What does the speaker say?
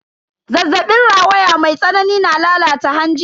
Zazzabin rawaya mai tsanani na lalata hanji.